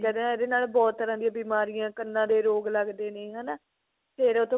ਕਹਿੰਦੇ ਇਹਦੇ ਨਾਲ ਬਹੁਤ ਤਰ੍ਹਾਂ ਦੀਆਂ ਬਿਮਾਰੀਆਂ ਕੰਨਾ ਦੇ ਰੋਗ ਲੱਗਦੇ ਨੇ ਹਨਾ ਫੇਰ ਉਹ ਤੋਂ